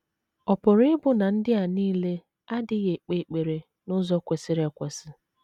Ọ̀ pụrụ ịbụ na ndị a nile adịghị ekpe ekpere n’ụzọ kwesịrị ekwesị?